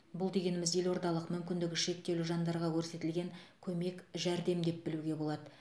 бұл дегеніміз елордалық мүмкіндігі шектеулі жандарға көрсетілген көмек жәрдем деп білуге болады